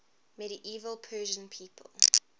medieval persian people